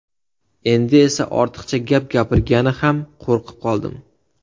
Endi esa ortiqcha gap gapirgani ham qo‘rqib qoldim.